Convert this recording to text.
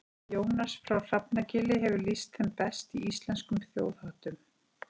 Jónas frá Hrafnagili hefur lýst þeim best í Íslenskum þjóðháttum.